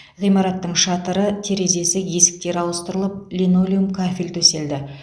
ғимараттың шатыры терезесі есіктері ауыстырылып линолеум кафель төселді